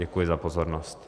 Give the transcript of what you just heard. Děkuji za pozornost.